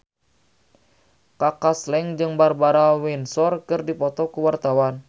Kaka Slank jeung Barbara Windsor keur dipoto ku wartawan